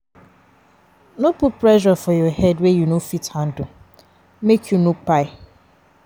No put pressure for your head wey you no fit handle make you no kpai